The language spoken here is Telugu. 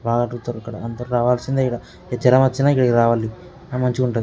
బాగా చూతరు ఇక్కడ అందరూ రావాల్సిందే ఈడ జరం వచ్చిన ఇక్కడికి రావాలి ఆ మంచిగా ఉంటది.